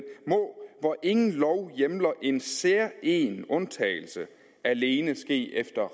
må hvor ingen lov hjemler en særegen undtagelse alene ske efter